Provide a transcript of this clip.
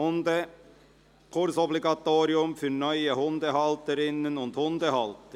«Hundekursobligatorium für neue Hundehalterinnen und Hundehalter».